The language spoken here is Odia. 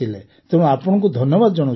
ତେଣୁ ଆପଣଙ୍କୁ ଧନ୍ୟବାଦ ଜଣାଉଛୁ